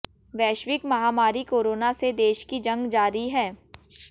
वैश्विक महामारी कोरोना से देश की जंग जारी है